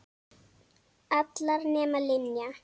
Allar nema Linja.